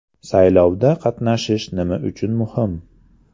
Saylovda qatnashish nima uchun muhim?